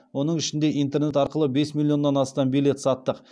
оның ішінде интернет арқылы бес миллионнан астам билет саттық